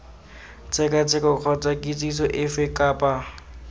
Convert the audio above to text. tshekatsheko kgotsa kitsiso efe kapa